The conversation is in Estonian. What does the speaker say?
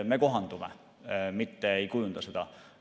Me kohandume, mitte ei kujunda seda.